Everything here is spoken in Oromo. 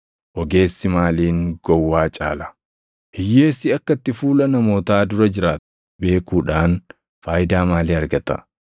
Ogeessi maaliin gowwaa caala? Hiyyeessi akka itti fuula namootaa dura jiraatu beekuudhaan faayidaa maalii argata?